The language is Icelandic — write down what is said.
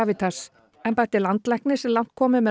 Gravitas embætti landlæknis er langt komið með